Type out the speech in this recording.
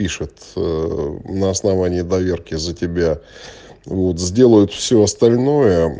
пишут на основании доверки за тебя вот сделают все остальное